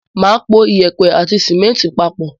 Mà á po yèèpẹ̀ àti símẹ́ńtì papọ̀.